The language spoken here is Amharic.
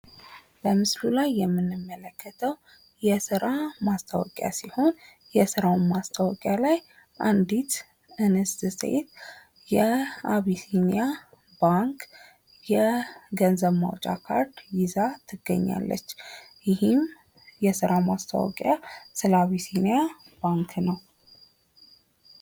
በምስሉ ላይ የምንመለከተው የስራ ማስታወቂያ ሲሆን የስራውም ማስታወቂያ ላይ አንዲት እንስት ሴት የአቢሲኒያ ባንክ የገንዘብ ማውጫ ካርድ ይዛ ትገኛለች። ይህም የስራ ማስታወቂያ ስለ አቢሲኒያ ባንክ ነው።